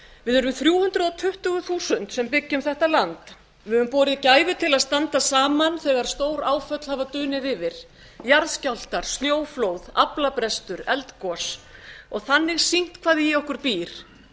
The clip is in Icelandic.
við erum þrjú hundruð tuttugu þúsund sem byggjum þetta land við höfum borið gæfu til að standa saman þegar stóráföll hafa dunið yfir jarðskjálftar snjóflóð aflabrestur eldgos og þannig sýnt hvað í okkur býr